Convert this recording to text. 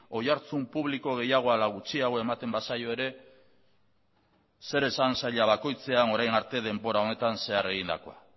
oihartzun publiko gehiago ala gutxiago ematen bazaio ere zer esan saila bakoitzean orain arte denbora honetan zehar egindakoa